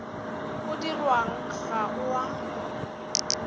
o dirwang ga o a